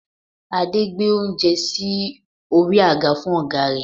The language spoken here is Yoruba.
Adé gbé oúnjẹ sí orí àga fún ọ̀gá rẹ̀